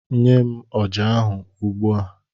Nye m ọjà ahụ, ugbu a!